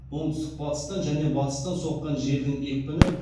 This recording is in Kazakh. оңтүстік батыстан және батыстан соққан желдің екпіні